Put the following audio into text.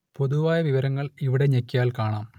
പൊതുവായ വിവരങ്ങൾ ഇവിടെ ഞെക്കിയാൽ കാണാം